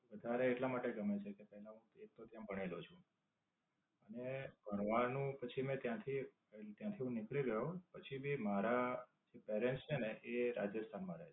વધારે એટલા માટે ગમે છે કે, એક તો હું ત્યાં ભણેલો છું. અને ભણવાનું પછી મેં ત્યાંથી ત્યાંથી હું નીકળી ગયો. પછી ભી મારા જે normally છે ને એ રાજસ્થાન માં રહે.